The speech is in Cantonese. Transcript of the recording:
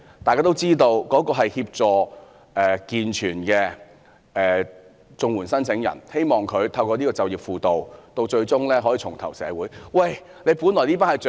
大家也知道該計劃是協助健全綜援申請人，希望他們透過計劃最終可以重投社會。